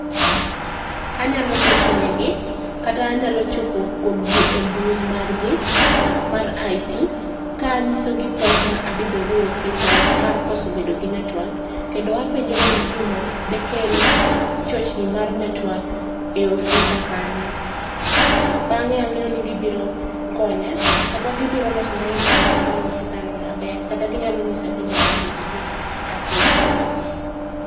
Anyalo gochonegi kata anyalo chopo kuomgi e mbui margi mar IT, ka anyisogi pek ma abedogo e ofisa mar koso bedo gi netwak. Kendo apenjogi gima dekel chochni mar netwak ei ofisa kanyo. Bang'e ang'eyo ni gibiro konya, kata gibiro losona intanet mar ofisano maber. Kata ginyalo ng'isa gima onego obed ni atimo.